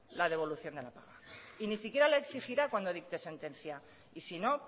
la devolución de la paga y ni siquiera lo exigirá cuando dicte sentencia y si no